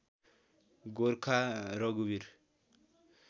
गोर्खा रघुवीर